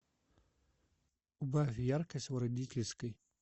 убавь яркость в родительской